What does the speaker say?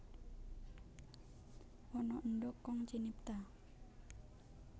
Ana endhog kang cinipta